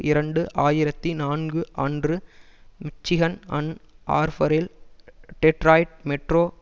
இரண்டு ஆயிரத்தி நான்கு அன்று மிச்சிகன் அன் ஆர்பரில் டெட்ராயிட் மெட்ரோ